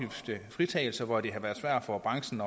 hvor det har været svært for branchen